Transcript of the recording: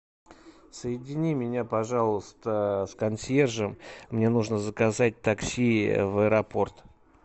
соедини меня пожалуйста с консьержем мне нужно заказать такси в аэропорт